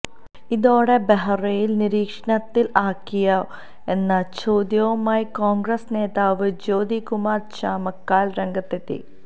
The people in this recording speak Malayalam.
ഇതോടെ ബെഹ്റയെ നിരീക്ഷണത്തിൽ ആക്കിയോ എന്ന ചോദ്യവുമായി കോൺഗ്രസ് നേതാവ് ജ്യോതികുമാർ ചാമക്കാല രംഗത്തെത്തി